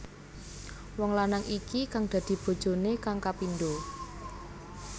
Wong lanang iki kang dadi bojoné kang kapindho